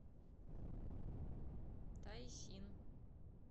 тайсин